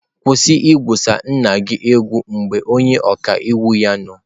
Kwụsị igwusa nna gị egwu mgbe onye ọka iwu ya nọ.